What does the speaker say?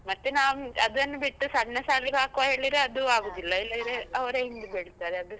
ಮತ್ತೆ ನಾವ್ ಅದನ್ನ್ ಬಿಟ್ಟು ಸಣ್ಣ ಶಾಲೆಗೆ ಹಾಕುವ ಹೇಳಿದ್ರೆ ಅದೂ ಆಗುದಿಲ್ಲ, ಇಲ್ಲದ್ರೆ ಅವರೇ ಹಿಂದ್ ಬೀಳ್ತಾರೆ ಅದುಸಾ.